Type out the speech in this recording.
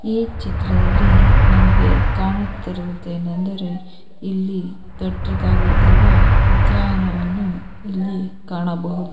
ಈ ಚಿತ್ರದಲ್ಲಿ ನಮಗೆ ಕಾಣುತ್ತಿರುವುದು ಏನೆಂದರೆ ಇಲ್ಲಿ ದೊಡ್ಡದಾಗಿ ಇರುವ ಉದ್ಯಾನವನ್ನು ಇಲ್ಲಿ ಕಾಣಬಹುದು.